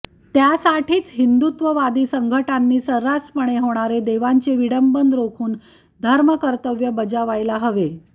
त्यासाठीच हिंदुत्ववादी संघटनांनी सर्रासपणे होणारे देवतांचे विडंबन रोखून धर्मकर्तव्य बजावायला हवे